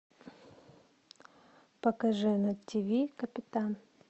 покажи на тиви капитан